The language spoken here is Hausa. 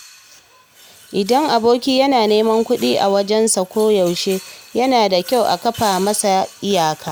Idan aboki yana neman kuɗi a wajensa koyaushe, yana da kyau a kafa masa iyaka.